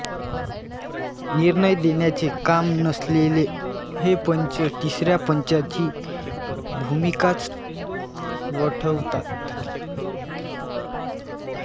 निर्णय देण्याचे काम नसलेले हे पंच तिसऱ्या पंचाची भूमिकाच वठवतात